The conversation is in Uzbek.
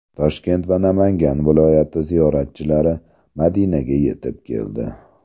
Toshkent va Namangan viloyati ziyoratchilari Madinaga yetib keldi.